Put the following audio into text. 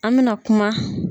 An bɛ na kuma.